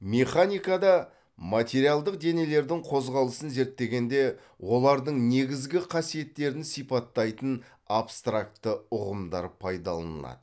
механикада материалдық денелердің қозғалысын зерттегенде олардың негізгі қасиеттерін сипаттайтын абстракты ұғымдар пайдаланылады